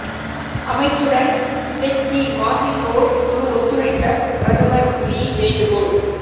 அமைச்சுடன் Teck Ghee வசிப்போர் குழு ஒத்துழைக்க பிரதமர் லீ வேண்டுகோள்